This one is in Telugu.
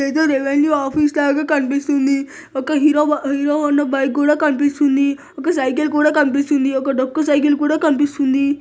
ఇదేదో రెవిన్యూ ఆఫీస్ లాగా కనిపిస్తుంది అక్కడ హీరో -హీరో హండా బైక్ కూడా కనిపిస్తుంది ఒక సైకిల్ కూడా కనిపిస్తుంది ఒక డొక్కు సైకిల్ కూడా కనిపిస్తుంది